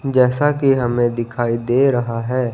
जैसा कि हमें दिखाई दे रहा है।